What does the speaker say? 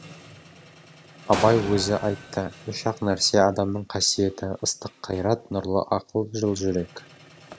абай өзі айтты үш ақ нәрсе адамның қасиеті ыстық қайрат нұрлы ақыл жыл жүрек